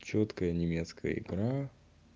чёткая немецкая игра